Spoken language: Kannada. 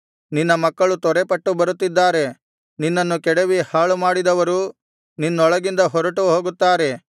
ನಿನ್ನ ಮಕ್ಕಳು ತ್ವರೆಪಟ್ಟು ಬರುತ್ತಿದ್ದಾರೆ ನಿನ್ನನ್ನು ಕೆಡವಿ ಹಾಳುಮಾಡಿದವರು ನಿನ್ನೊಳಗಿಂದ ಹೊರಟು ಹೋಗುತ್ತಾರೆ